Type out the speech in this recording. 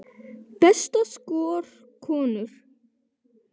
Besta skor, konur